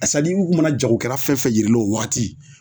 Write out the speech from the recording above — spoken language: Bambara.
A sadi u kun mana jagokɛla fɛn fɛn yir'i la o wagati